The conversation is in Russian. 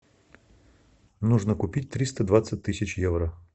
нужно купить триста двадцать тысяч евро